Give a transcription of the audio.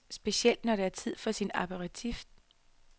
Specielt når det er tid for sin aperitif.